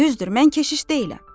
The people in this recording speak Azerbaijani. Düzdür, mən keşiş deyiləm.